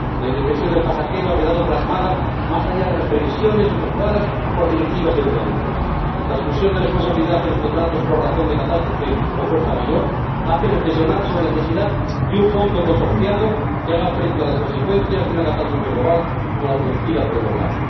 La indefensión del pasajero ha quedado plasmada más allá de las previsiones efectuadas por directivas y reglamentos. La exclusión de responsabilidad en los contratos por razón de catástrofe o fuerza mayor hace reflexionar sobre la necesidad de un fondo consorciado que haga frente a las consecuencias de una catástrofe global, como la producida por el volcán.